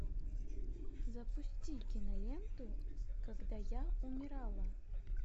запусти киноленту когда я умирала